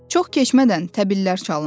Çox keçmədən təbillər çalındı.